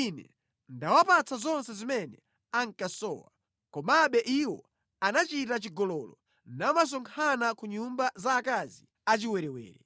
Ine ndinawapatsa zonse zimene ankasowa, komabe iwo anachita chigololo namasonkhana ku nyumba za akazi achiwerewere.